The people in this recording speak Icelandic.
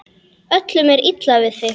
Öllum er illa við þig!